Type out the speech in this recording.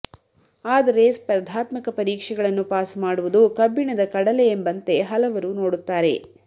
ಆದರೆ ಸ್ಪರ್ಧಾತ್ಮಕ ಪರೀಕ್ಷೆಗಳನ್ನು ಪಾಸು ಮಾಡುವುದು ಕಬ್ಬಿಣದ ಕಡಲೆ ಎಂಬಂತೆ ಹಲವರು ನೋಡುತ್ತಾರೆ